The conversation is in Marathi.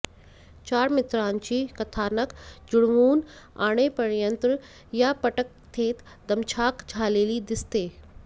चार मित्रांची कथानक जुळवून आणेपर्यंत या पटकथेत दमछाक झालेली दिसते